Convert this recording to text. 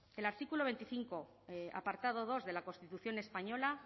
el artículo veinticinco apartado dos de la constitución española